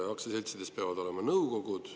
Aktsiaseltsidel peavad olema nõukogud.